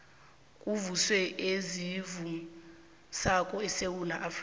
kuvuswa ezivusako esewula afrika